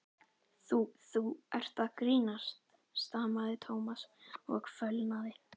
Þú- þú ert að grínast stamaði Thomas og fölnaði.